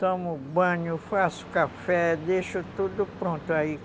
Tomo banho, faço café, deixo tudo pronto aí.